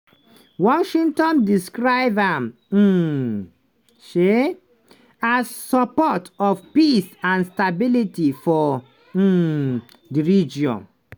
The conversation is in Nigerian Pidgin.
washington describe am um um as support of peace and stability for um di region.